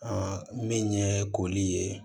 min ye koli ye